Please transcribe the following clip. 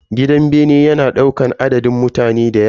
Gidan bene yana daukan adadin mutane dayawa.